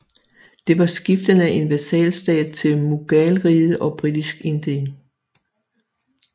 Det var skiftende en vassalstat til Mughalriget og Britisk Indien